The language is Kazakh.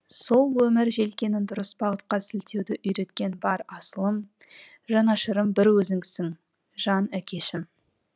сол өмір желкенін дұрыс бағытқа сілтеуді үйреткен бар асылым жанашырым бір өзіңсің жан әкешім